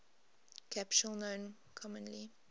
capsule known commonly